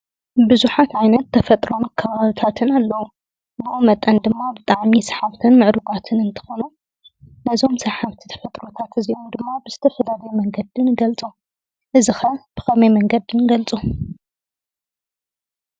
ንብዙሓት ዓይነት ተፈጥሮኣዊ ከባብታትን ኣለዉ። ብኡኡ መጠን ድማ ብጣዕሚ ሰሓብትን ምዕሩጋትን እንትኾኑ ናይዞም ሰባት ተፈጥሮታት እዚኦም ድማ ብዝተፈላለየ መንገዲ ንገልፆ። እዚ ኸ ብኸመይ መንገዲ ንገልፆ?